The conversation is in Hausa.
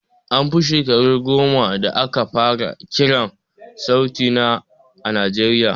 An fi shakaru goma da aka fara kiran sauti a najeriya